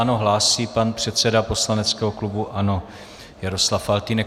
Ano, hlásí pan předseda poslaneckého klubu ANO Jaroslav Faltýnek.